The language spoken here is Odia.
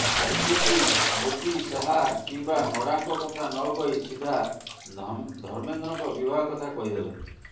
ବିଜେପି ମୋଦି ଶାହା କିମ୍ବା ନଡ୍ଡାଙ୍କ କଥା ନକହି ସିଧା ଧର୍ମେନ୍ଦ୍ରଙ୍କ ବିଭାଗ କଥା କହିଦେଲେ